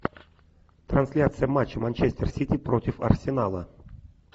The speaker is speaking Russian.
трансляция матча манчестер сити против арсенала